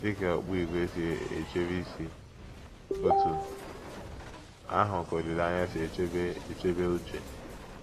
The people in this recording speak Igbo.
Dị ka okpu ígwè na - esi echebe isi, otú ahụ ka olileanya si echebe echebe uche